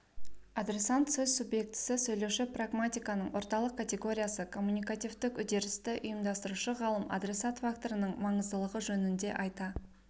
адресант сөз субъектісі сөйлеуші прагматиканың орталық категориясы коммуникативтік үдерісті ұйымдастырушы ғалым адресат факторының маңыздылығы жөнінде айта